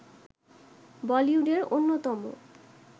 বলিউডের অন্যতম